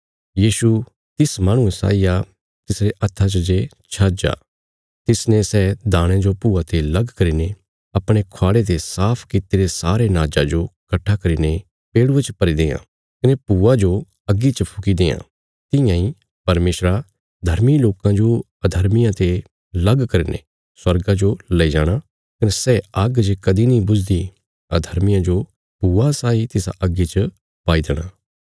यीशु तिस माहणुये साई आ तिसरे हत्था च जे छज आ तिसने सै दाणयां जो भूआ ते लग करीने अपणे ख्वाड़े ते साफ कित्तिरे सारे नाजा जो कट्ठा करीने पेड़ुये च भरी देआं कने भूआ जो अग्गी च फुकी देआं तियां इ परमेशरा धर्मी लोकां जो अधर्मियां ते लग करीने स्वर्गा जो लैई जाणा कने सै आग्ग जे कदीं नीं बुझदी अधर्मियां जो भूआ साई तिसा अग्गी च पाई देणा